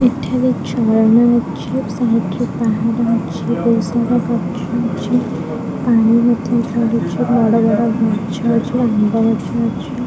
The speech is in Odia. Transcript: ଏଠାରେ ଝରଣାଅଛି ସାଇଟରେ ରେ ରେ ପାଣି ରହିଛି ବହୁତସାରା ଗଛ ଅଛି ପାଣି ମଧ୍ଯ ଝରୁଛି ବଡବଡ ଗଛ ଅଛି ଆମ୍ବ ଗଛ ଅଛି।